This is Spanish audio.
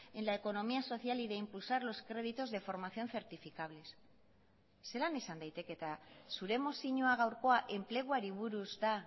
en la economía social y de impulsar los créditos de formación certificables zelan izan daiteke eta zure mozioa gaurkoa enpleguari buruz da